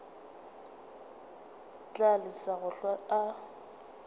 tla lesa go hlwa a